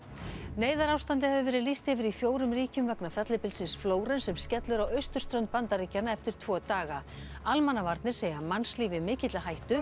neyðarástandi hefur verið lýst yfir í fjórum ríkjum vegna fellibylsins Flórens sem skellur á austurströnd Bandaríkjanna eftir tvo daga almannavarnir segja mannslíf í mikilli hættu